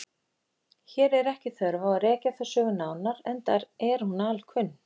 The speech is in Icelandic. Hér er ekki þörf á að rekja þá sögu nánar enda er hún alkunn.